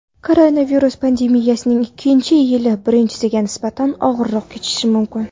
Koronavirus pandemiyasining ikkinchi yili birinchisiga nisbatan og‘irroq kechishi mumkin.